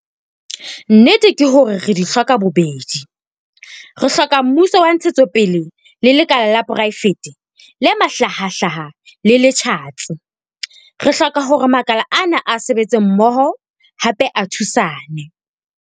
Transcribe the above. Nnete ke hore re di hloka bobedi. Re hloka mmuso wa ntshetsopele le lekala la poraefete le mahlahahlaha le le tjhatsi. Re hloka hore makala ana a sebetse mmoho, hape a thusane.